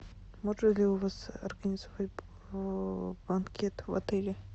можно ли у вас организовать банкет в отеле